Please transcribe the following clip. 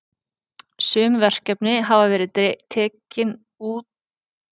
Sum verkefni hafa verið tekin út úr örgjörvanum til að tefja hann ekki.